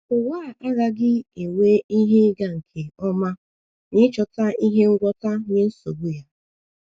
Ụwa a agaghị enwe ihe ịga nke ọma n’ịchọta ihe ngwọta nye nsogbu ya.